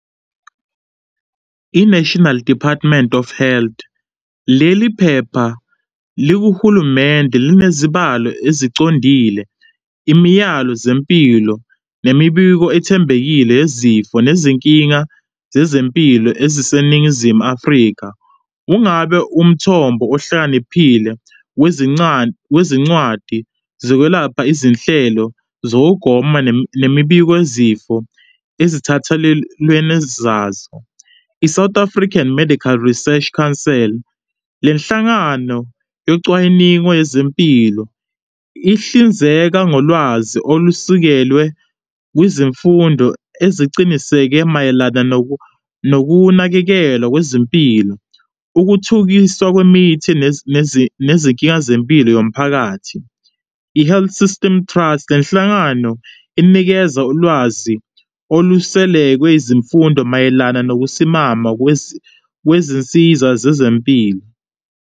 I-National Department of Health, leliphepha likuhulumende linezibalo ezicondile, imiyalo zempilo, nemibiko ethembekile yezifo, nezinkinga zezempilo eziseNingizimu Afrika. Ungabe umthombo ohlakaniphile wezincwadi zokwelapha izinhlelo zokugoma nemibiko yezifo ezithathalelenezazo. I-South African Medical Research Counsel, lenhlangano yocwaningo yezempilo ihlinzeka ngolwazi olusukelwe kwizemfundo eziqiniseke mayelana nokunakekelwa kwezempilo, ukuthukiswa kwemithi nezinkinga zempilo yomphakathi. I-Health System Trust, lenhlangano inikeza ulwazi oluselekwe izimfundo mayelana nokusimama kwezinsiza zezempilo.